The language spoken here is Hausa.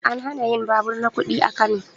An hana yin babur na kuɗi a Kano